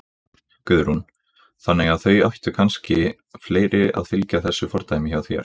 Guðrún: Þannig að það ættu kannski fleiri að fylgja þessu fordæmi hjá þér?